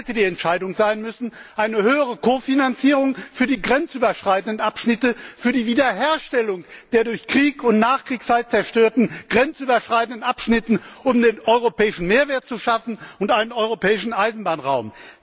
Das hätte die Entscheidung sein müssen eine höhere Ko Finanzierung für die grenzüberschreitenden Abschnitte, für die Wiederherstellung der durch Krieg und Nachkriegszeit zerstörten grenzüberschreitenden Abschnitte, um einen europäischen Mehrwert zu schaffen und einen europäischen Eisenbahnraum!